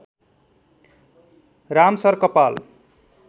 राम सर कपाल